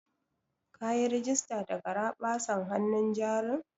Kayi rigista da garaɓasan hanun jarin?